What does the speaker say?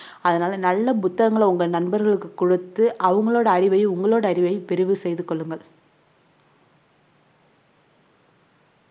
அதனால நல்ல புத்தகங்களை உங்க நண்பர்களுக்கு குடுத்து அவங்களோட அறிவையும் உங்களோட அறிவையும் விரிவு செய்து கொள்ளுங்கள்.